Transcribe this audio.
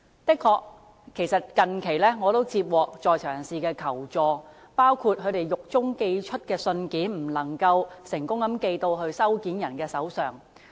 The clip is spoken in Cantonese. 我近期的確接獲在囚人士的求助，包括他們在獄中寄出的信件不能夠成功寄送到收件人手上。